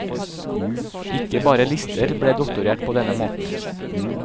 Ikke bare lister ble doktorert på denne måten.